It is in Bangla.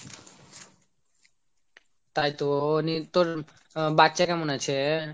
তাই তো, নির তোর উম বাচ্চা কেমন আছে ?